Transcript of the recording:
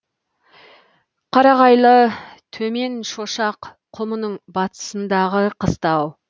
қарағайлы төменшошақ құмының батысындағы қыстау